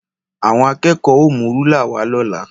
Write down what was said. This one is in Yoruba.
Àwọn akẹ́ẹ̀kọ́ ó mú rúlà wá lọ́la